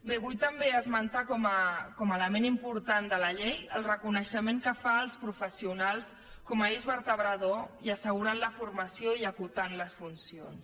bé vull també esmentar com a element important de la llei el reconeixement que fa als professionals com a eix vertebrador i assegurant la formació i acotant les funcions